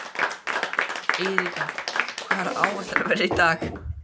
Eiríka, hvað er á áætluninni minni í dag?